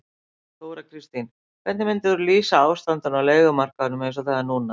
Þóra Kristín: Hvernig myndir þú lýsa ástandinu á leigumarkaðnum eins og það er núna?